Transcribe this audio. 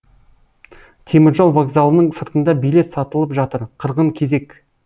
теміржол вокзалының сыртында билет сатылып жатыр қырғын кезек